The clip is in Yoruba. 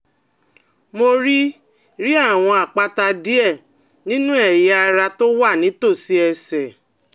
Mo rí rí àwọn àpáta díẹ̀ nínú ẹ̀yà ara tó wà nítòsí ẹ̀sẹ̀